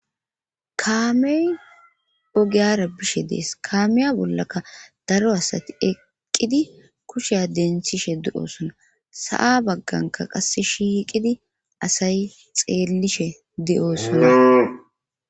kaamey ogiyara bishe dees kaamiya bollaka daro asati eqqidi kusheya denthishe du7osona sa7a bagganka qasse shiiqidi asay xeellishe de7osona